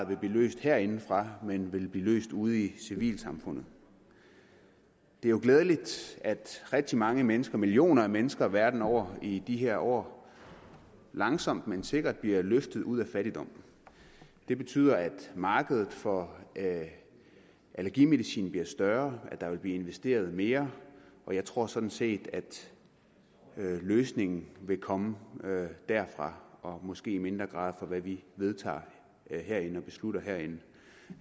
vil blive løst herindefra men vil blive løst ude i civilsamfundet det er jo glædeligt at rigtig mange mennesker millioner af mennesker verden over i de her år langsomt men sikkert bliver løftet ud af fattigdom det betyder at markedet for allergimedicin bliver større at der vil blive investeret mere og jeg tror sådan set at løsningen vil komme derfra og måske i mindre grad fra hvad vi vedtager og beslutter herinde